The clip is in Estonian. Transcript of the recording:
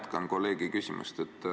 Ma jätkan kolleegi küsimust.